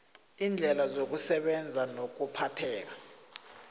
iindlela zokusebenza nokuphatheka